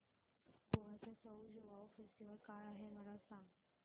गोव्याचा सउ ज्युआउ फेस्टिवल काय आहे मला सांग